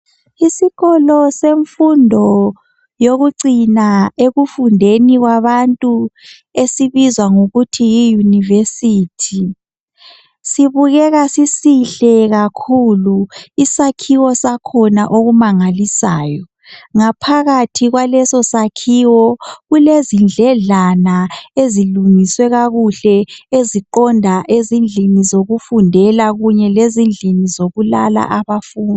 Isikolo semfundo yokucina ekufundeni kwabantu esibizwa ngokuthi yiyunivesithi sibukeka sisihle kakhulu isakhiwo sakhona okumangalisayo. Ngaphakathi kwalesosakhiwo kulezindledlana ezilungiswe kakuhle eziqonda ezindlini zokufundela kanye lendlini ezilala abafundi.